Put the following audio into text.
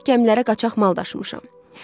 Ancaq gəmilərə qaçaq mal daşımışam.